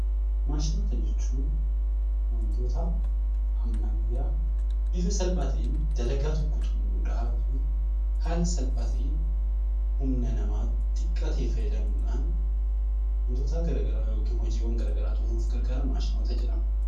Mashinoota jechuun wantoota ammayyaa ta'ee bifa salphaa ta'een hojii tokko xumuruuf haala salphaa ta'een humna namaa xiqqaa ta'e fayyadamuun hojiiwwan garaagaraa xumuruudhaaf kan gargaaran maashinoota jedhamu.